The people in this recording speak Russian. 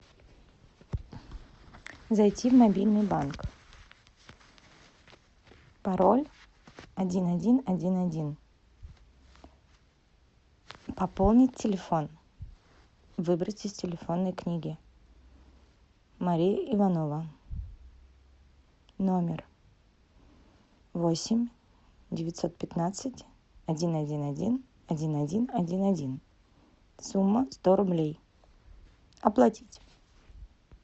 зайти в мобильный банк пароль один один один один пополнить телефон выбрать из телефонной книги мария иванова номер восемь девятьсот пятнадцать один один один один один один один сумма сто рублей оплатить